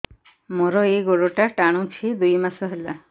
ମୋର ଏଇ ଗୋଡ଼ଟା ଟାଣୁଛି ଦୁଇ ମାସ ହେଲା